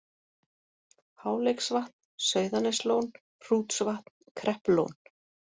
Háleiksvatn, Sauðaneslón, Hrútsvatn, Kreppulón